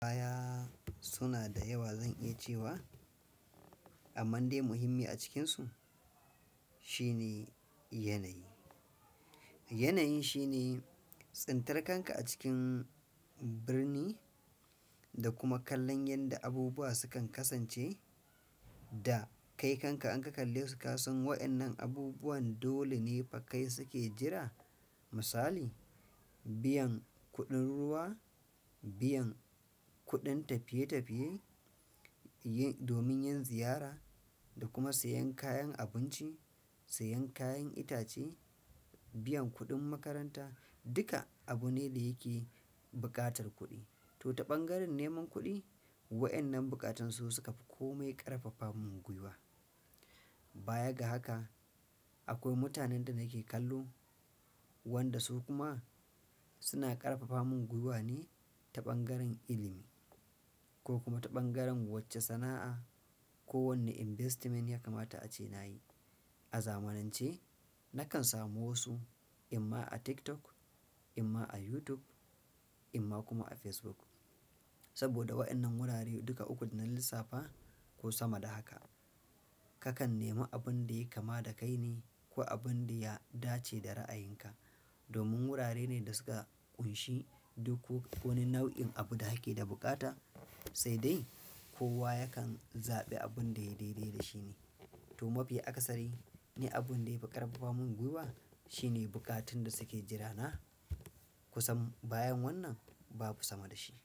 Kaya suna da yawa zan iya cewa, amma dai muhimmi a cikinsu shine yanayi. Yanayi shine tsintar kanka a cikin birni da kuma kallon yadda abubuwa sukan kasance da kai kanka an ka kalle su ka san waɗannan abubuwan dole ne fakai suke jira. Misali, biyan kuɗin ruwa, biyan kuɗin tafiye-tafiye, yi-- domin yin ziyara da kuma sayan kayan abinci, sayan kayan itace, biyan kuɗin makaranta, duka abu ne da yake buƙatar kuɗi. To, ta ɓangaren neman kuɗi waɗannan bunkatu su suka fi kome ƙarfafa mun guiwa. Baya ga haka, akwai mutanen da nake kallo wanda su kuma suna ƙarfafa mun guiwa ne ta ɓangaren ilimi ko kuma ta ɓangaren wacce sana'a ko wanne investment ya kamata a ce na yi. A zamanance na kan samu wayansu inma tiktok, inma youtube inma kuma a face book, saboda wadannan wurare duka ukun dana lissafa ko sama da haka. Kakan nemi abin da yake kama da kai ne ko abin da ya dace da ra'ayinka. Domin wurare ne da suka ƙunshi duk ko wani nau'in abu da ake da bukata, sai dai kowa yakan zaɓi abin da ya daidai da shi ne. To, mafi akasari ni abin da yafi ƙarfafa mun guiwa shine bukatun da suke jira na. Kusan bayan wannan babu sama da shi.